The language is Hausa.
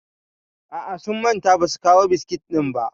A'a, sun manta ba su kawo biskit ɗin ba.